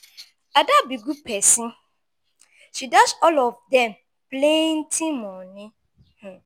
ada be good person. she dash all of dem plenty money.